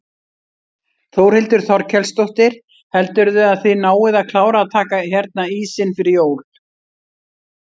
Þórhildur Þorkelsdóttir: Heldurðu að þið náið að klára að taka hérna ísinn fyrir jól?